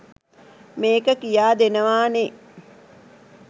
මේක කියා දෙනවා නේ.